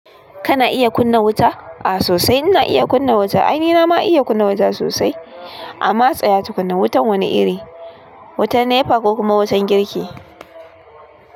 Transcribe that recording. Kana iya kunna wuta? A'a sosai. Nna iya kunna wuta. Ainina ma iya kunna wuta sosai. Amma tsaya tu kunna wutan wani iri. Wutan NEPA ko kuma wutan girki.